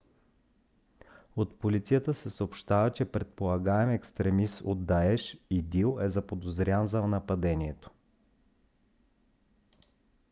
от полицията се съобщава че предполагаем екстремист на даеш идил е заподозрян за нападението